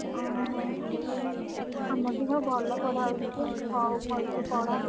ଓହୋ ଆମର ବି ସବୁ ଭଲ ପଢାହଉଛି ଯେ, ହଉ ଭଲସେ ପଢ।